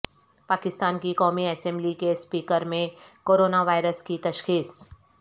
پاکستان کی قومی اسمبلی کے اسپیکر میں کو رونا وائرس کی تشخیص